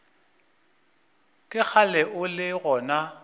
ke kgale o le gona